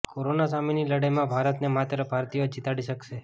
corona સામેની લડાઈમાં ભારતને માત્ર ભારતીયો જ જીતાડી શકશે